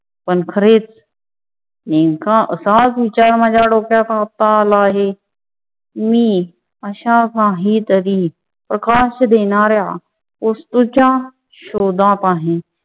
पण खरेच नेमका असाच विचार आता माझ्या डोक्यात आला आहे. मी अशा काहीतरी प्रकाश देणाऱ्या वस्तूच्या शोधात आहे.